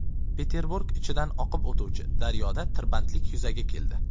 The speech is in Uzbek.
Peterburg ichidan oqib o‘tuvchi daryoda tirbandlik yuzaga keldi.